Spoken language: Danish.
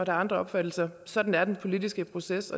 andre opfattelser sådan er den politiske proces